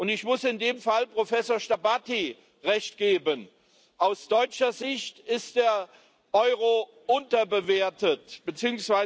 Ich muss in dem Fall Professor Starbatty Recht geben Aus deutscher Sicht ist der Euro unterbewertet bzw.